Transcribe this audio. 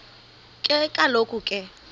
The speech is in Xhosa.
ke kaloku ke